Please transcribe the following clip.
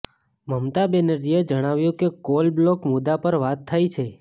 મમતા બેનર્જીએ જણાવ્યું કે કોલ બ્લોક મુદ્દા પર વાત થઇ છે